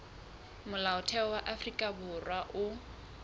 molaotheo wa afrika borwa o